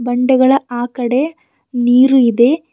ಬಂಡೆಗಳ ಆ ಕಡೆ ನೀರು ಇದೆ.